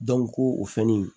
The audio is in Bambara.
ko o fɛnnin